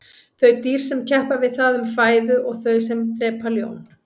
þau dýr sem keppa við það um fæðu og þau sem drepa ljón